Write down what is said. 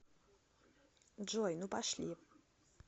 джой ну пошли